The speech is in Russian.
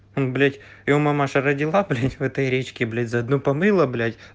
ой блять его мамаша родила блять в этой речке блять за одно помыла блять